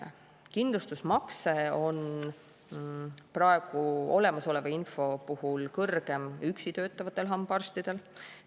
Kindlustusmakse on praegu olemasoleva info järgi kõrgem üksi töötavatel hambaarstidel.